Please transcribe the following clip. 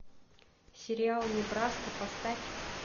сериал небраска поставь